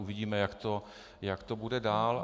Uvidíme, jak to bude dál.